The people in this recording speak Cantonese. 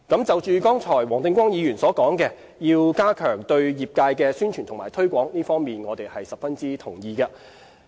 就剛才黃定光議員所說，要加強對業界的宣傳和推廣，這方面我們十分同意。